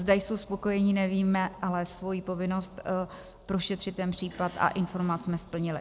Zda jsou spokojeni, nevíme, ale svoji povinnost prošetřit ten případ a informovat jsme splnili.